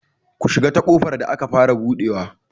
Ku shiga ta ƙofar da aka fara buɗewa!